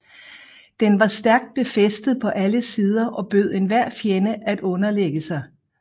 Den var stærkt befæstet på alle sider og bød enhver fjende at underlægge sig